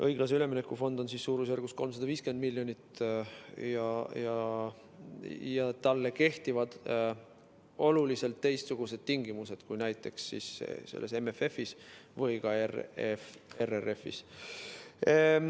Õiglase ülemineku fond on suurusjärgus 350 miljonit ja seal kehtivad oluliselt teistsugused tingimused kui näiteks MFF-is või ka RRF-is.